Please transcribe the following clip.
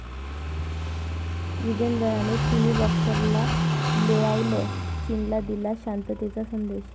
विजेंदरने चिनी बाॅक्सरला लोळवलं, चीनला दिला शांततेचा संदेश